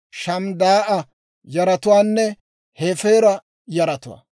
Shamidaa'a yaratuwaanne Hefeera yaratuwaa.